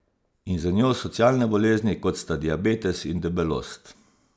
In z njo socialne bolezni, kot sta diabetes in debelost.